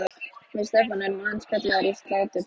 Við Stefán erum aðeins kallaðir til í sláturtíð.